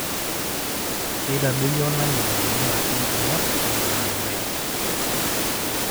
keitadoyio olameyu ibaa e nkurma neponaa irpaek